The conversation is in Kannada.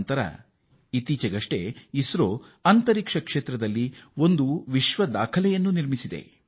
ಬೃಹತ್ ಅಭಿಯಾನದಲ್ಲಿ ಇಸ್ರೋ ಏಕ ಕಾಲದಲ್ಲಿ 104 ಉಪಗ್ರಹಗಳನ್ನು ಬಾಹ್ಯಾಕಾಶಕ್ಕೆ ಉಡಾವಣೆ ಮಾಡಿದೆ